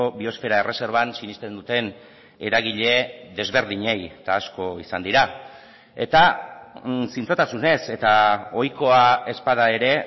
biosfera erreserban sinesten duten eragile desberdinei eta asko izan dira eta zintzotasunez eta ohikoa ez bada ere